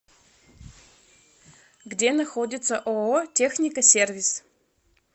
где находится ооо техника сервис